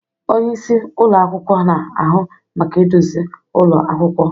Onye isi ụlọ akwụkwọ na-ahụ maka iduzi ụlọ akwụkwọ.